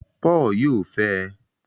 Paul yóò fẹe